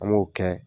An m'o kɛ